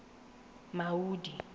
maudi